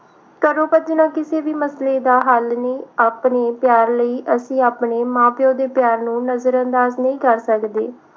ਘਰੋਂ ਭੱਜਣਾ ਕਿਸੇ ਵੀ ਮਸਲੇ ਦਾ ਹੱਲ ਨਹੀਂ ਆਪਣੇ ਪਿਆਰ ਲਈ ਅਸੀਂ ਆਪਣੇ ਮਾਂ ਪਿਉ ਦੇ ਪਿਆਰ ਨੂੰ ਨਜਰ ਅੰਦਾਜ ਨਹੀਂ ਕਰ ਸਕਦੇ